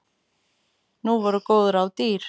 Nú voru góð ráð dýr!